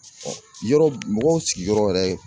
yɔrɔ mɔgɔw sigiyɔrɔ yɛrɛ